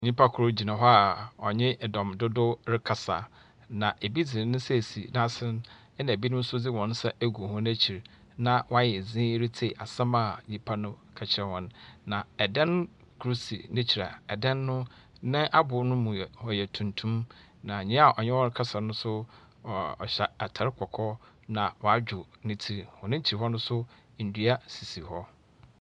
Nyimpa kor gyina hɔ a ɔnye dɔm dodow rekasa, bi dze ne n’asen na binom nso dze hɔn nsa egu wɔn ekyir na wɔayɛ dzinn ritsie asɛm a nyimpa no reka kyerɛ hɔn. na dan kor si n’ekyir a dan no, n’abow no mu yɛ ɔyɛ tuntum. Na nyia ɔnye hɔn rekasa no so, ɔhyɛ atar kɔkɔɔ na wɔadwer ne tsir. Hɔn ekyir hɔ no so, ndua sisi hɔ.